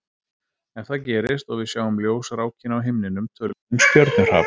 Ef það gerist og við sjáum ljósrákina á himninum tölum við um stjörnuhrap.